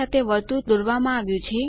સાથે વર્તુળ દોરવામાં આવ્યું છે